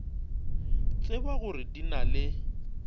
tseba gore di na le